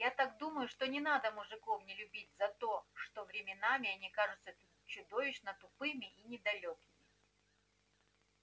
я так думаю что не надо мужиков не любить за то что временами они кажутся чудовищно тупыми и недалёкими